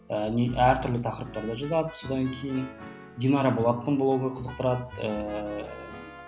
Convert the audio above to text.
әртүрлі тақырыптарда жазады содан кейін динара болаттың блогы қызықтырады ыыы